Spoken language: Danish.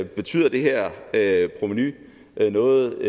betyder det her her provenu noget